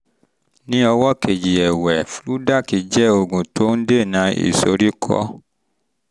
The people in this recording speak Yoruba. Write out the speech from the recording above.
ní ọwọ́ kejì ẹ̀wẹ̀ fludac jẹ́ oògùn tó ń dènà ìsoríkọ́